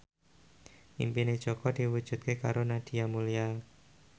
impine Jaka diwujudke karo Nadia Mulya